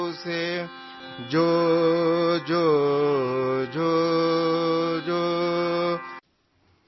جو جو...جو...جو''